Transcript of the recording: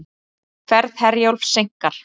Ferð Herjólfs seinkar